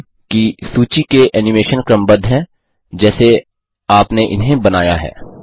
ध्यान दें कि सूची के एनिमेशन क्रमबद्ध हैं जैसे आपने इन्हें बनाया है